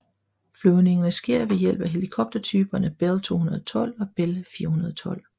Flyvningerne sker ved hjælp af helikoptertyperne Bell 212 og Bell 412